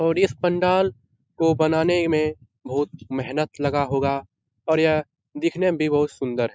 और इस पंडाल को बनाने में बहुत मेहनत लगा होगा और यह दिखने में भी बहुत सुंदर है।